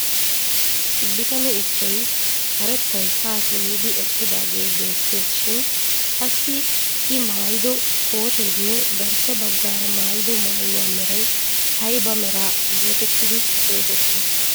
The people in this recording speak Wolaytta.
Bitane issoy karettay haa simmidi eqqidaagee beettees shin assi I maayido kooteenne garssa baggaara mayido maayuwa meray ayba mera geetettidi xeesettii?